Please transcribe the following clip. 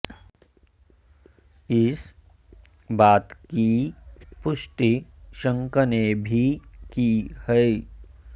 इस बात की पुष्टि शङख ने भी की है